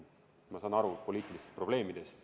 Ma saan aru poliitilistest probleemidest.